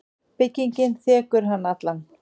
Byggingin þekur hann allan.